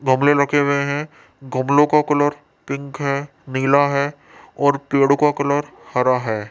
गमले रखे हुए हैं गमलो का कलर पिंक है नीला है और पेड़ो का कलर हरा है।